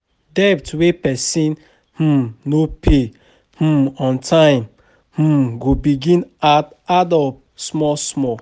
Debt wey person um no pay um on time um go begin add add up small small